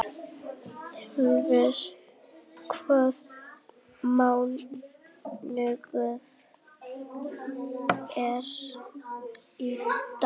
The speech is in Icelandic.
Þórelfur, hvaða mánaðardagur er í dag?